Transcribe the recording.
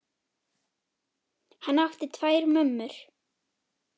Hann átti tvær mömmur.